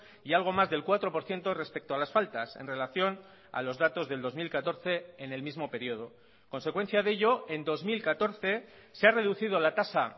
y algo más del cuatro por ciento respecto a las faltas en relación a los datos del dos mil catorce en el mismo periodo consecuencia de ello en dos mil catorce se ha reducido la tasa